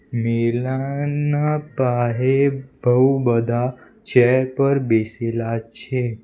મેલા ના બાહેર બહુ બધા ચેર પર બેસેલા છે.